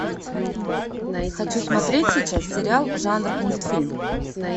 хочу смотреть сейчас сериал жанр мультфильм